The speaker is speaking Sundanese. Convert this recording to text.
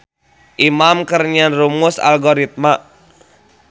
Imam keur nyieun rumus algoritma